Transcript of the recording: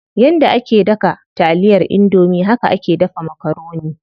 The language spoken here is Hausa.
Yanda ake daga taliyar indomie haka ake dafa makaroni.